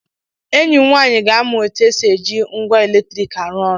Enyi m nwaanyị ga-amụ otu esi eji ngwa eletrik arụ ọrụ